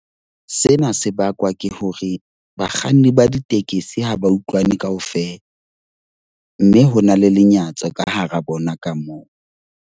Sena se bakwa ke hore bakganni ba ditekesi ha ba utlwane kaofela. Mme ho na le lenyatso ka hara bona ka moo.